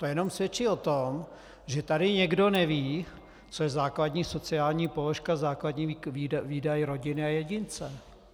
To jenom svědčí o tom, že tady někdo neví, co je základní sociální položka, základní výdaj rodiny a jedince.